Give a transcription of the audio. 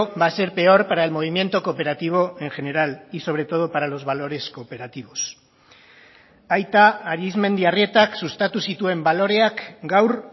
va a ser peor para el movimiento cooperativo en general y sobre todo para los valores cooperativos aita arizmendiarrietak sustatu zituen baloreak gaur